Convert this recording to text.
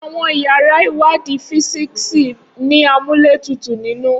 Awọn iyara iwadi fisiksi ni amuletutu ninu